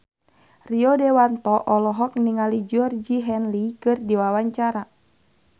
Rio Dewanto olohok ningali Georgie Henley keur diwawancara